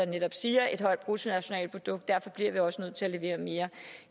netop siger højt bruttonationalprodukt derfor bliver vi også nødt til at levere mere